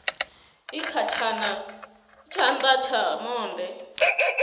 i kha tshana tsha monde